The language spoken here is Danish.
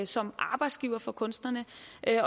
som arbejdsgiver for kunstnerne